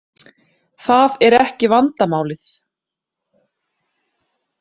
Það er ekki vandamálið.